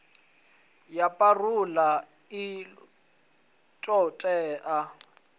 ya parole i ḓo vhea